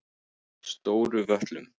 Stóru Völlum